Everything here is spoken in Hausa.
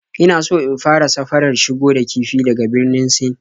Ina so in fara safarar shigo da kifi daga Birnin Sin